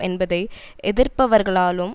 என்பதை எதிர்ப்பவர்களாலும்